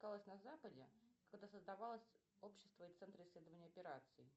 на западе когда создавалось общество и центр исследования операций